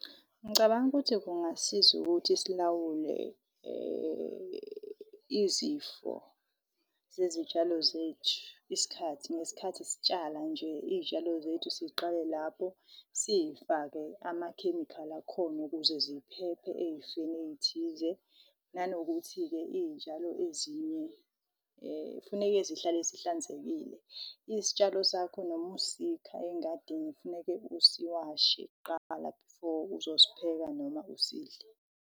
Ngicabanga ukuthi kungasiza ukuthi silawule izifo zezitshalo zethu. Isikhathi ngesikhathi sitshala nje iy'tshalo zethu, siziqale lapho siy'fake amakhemikhali akhona ukuze ziphephe eyifeni eyithize. Nanokuthi-ke itshalo ezinye, kufuneke zihlale sihlanzekile. Isitshalo sakho noma usika engadini, kufuneke usiwashe kuqala before uzosipheka noma usidle.